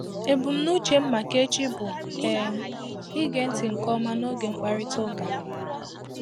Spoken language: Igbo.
Ebumnuche m maka echi bụ um ige ntị nke ọma n'oge mkparịta ụka.